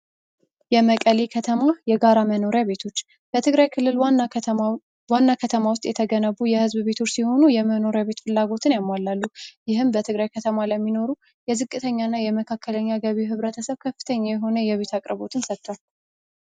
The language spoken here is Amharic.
የመቀሌ ከተማ የጋራ መኖሪያ ቤቶች በትግራይ ክልል ዋና ከተማ ውስጥ የተገነቡ የሕዝብ ቤቶች ሲሆኑ የመኖሪ ቤት ፍላጎትን ያሟላሉ ይህም በትግራይ ከተማ ለሚኖሩ የዝቅተኛ እና የመካከለኛ ገቢ ህብረተሰብ ከፍተኛ የሆነ የቤት አቅርቦትን ሰጥቷል፡፡